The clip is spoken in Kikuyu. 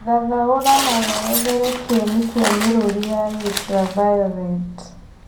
thathaũrĩra na werethere kĩene kia mĩrũri ya ultraviolet